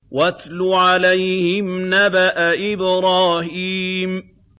وَاتْلُ عَلَيْهِمْ نَبَأَ إِبْرَاهِيمَ